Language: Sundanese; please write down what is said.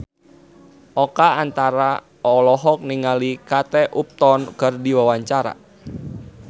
Oka Antara olohok ningali Kate Upton keur diwawancara